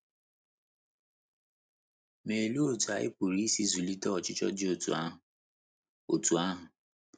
Ma olee otú anyị pụrụ isi zụlite ọchịchọ dị otú ahụ? otú ahụ?